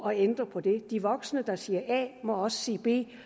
at ændre på det de voksne der siger a må også sige b